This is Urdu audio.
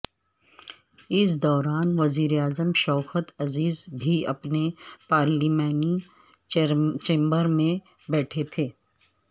اس دوران وزیراعظم شوکت عزیز بھی اپنے پارلیمانی چیمبر میں بیٹھے تھے